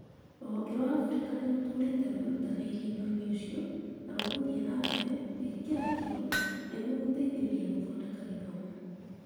rũhonge rwa Africa nĩ rũtũũrĩte rwĩrutanĩirie ũndũ-inĩ ũcio na rũgũthiĩ na mbere gwĩkĩra kĩyo nĩguo gũteithĩrĩria gũthondeka gĩthomo.